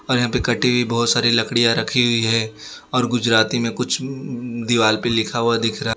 और यहां पे कटी हुई बहोत सारी लकड़ियां रखी हुई है और गुजराती में कुछ म दीवाल पे लिखा हुआ दिख रहा --